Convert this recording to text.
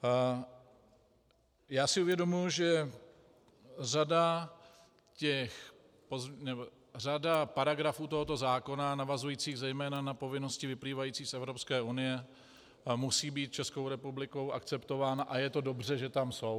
Já si uvědomuji, že řada paragrafů tohoto zákona navazujících zejména na povinnosti vyplývající z Evropské unie musí být Českou republikou akceptována, a je to dobře, že tam jsou.